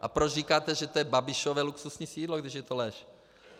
A proč říkáte, že to je Babišovo luxusní sídlo, když je to lež?